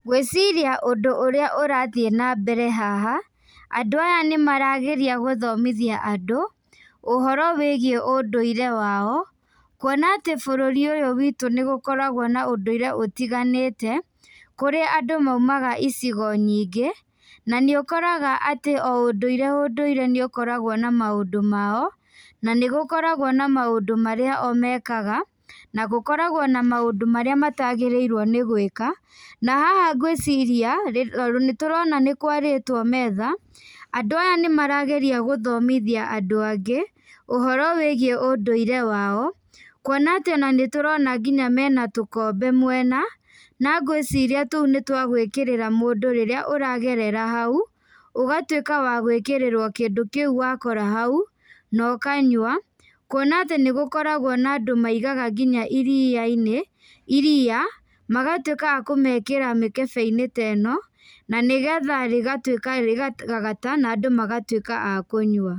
Ngwĩciria ũndũ ũrĩa ũrathiĩ na mbere haha, andũ aya nĩ marageria gũthomithia andũ , ũhoro wĩgiĩ ũndũire wao, kuona atĩ bũrũri ũyũ witũ nĩgũkoragwo na ũndũire ũtiganĩte, kũrĩa andũ maumaga icigo nyingĩ, na nĩ ũkoraga atĩ o ũndũire ũndũire nĩ ũkoragwo na maũndũ mao, na nĩgũkoragwo na maũndũ marĩa o mekaga, nagũkoragwo na mũndũ marĩa matagĩrĩirwo nĩ guĩka, na haha ngwĩciria, nĩ tũrona nĩ kwarĩtwo metha, andũ aya nĩ marageria gũthomithia andũ angĩ, ũhoro wĩgiĩ ũndũire wao , kuona atĩ nĩtũrona nginya mena tũkombe mwena, na ngwĩciria tũu nĩ twa gwĩkĩrĩra mũndũ rĩrĩa ũragerera hau, ũgatuĩka wa gwĩkĩrĩrwo kĩndũ kĩu wakora hau, na ũkanyua, kuona nĩ gũkoragwo na andũ maigaga nginya iria-inĩ, iria magatuĩka wa kũrĩkĩra mĩkebe-inĩ ta ĩno, na nĩgetha rĩgatuĩka rĩa kũgagata na andũ magatuĩka akũnyua.